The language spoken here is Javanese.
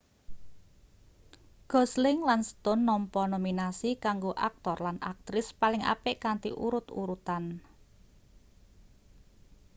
gosling lan stone nampa nominasi kanggo aktor lan aktris paling apik kanthi urut-urutan